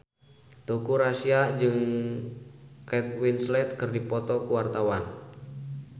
Teuku Rassya jeung Kate Winslet keur dipoto ku wartawan